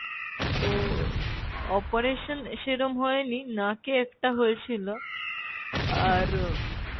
তো operation সেরম হয়নি নাকে একটা হয়েছিলো, আর